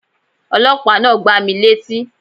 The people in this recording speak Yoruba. Ọlọ́pàá náà gbá mi létí